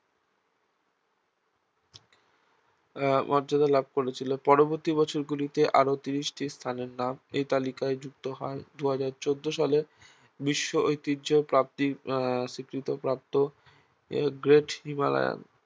আহ মর্যাদা লাভ করেছিল পরবর্তী বছরগুলিতে আরও তিরিশটি স্থানের নাম এই তালিকায় যুক্ত হয়দুই হাজার চৌদ্দ সালে বিশ্ব ঐতিহ্য প্রাপ্তি আহ স্বীকৃতিপ্রাপ্ত great himalayan